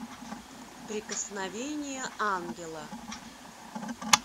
прикосновение ангела